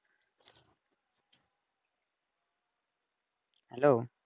hello